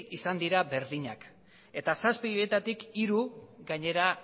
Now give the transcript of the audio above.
izan dira berdina eta zazpi horietatik hiru gainera